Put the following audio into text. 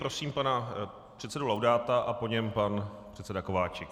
Prosím pana předsedu Laudáta a po něm pan předseda Kováčik.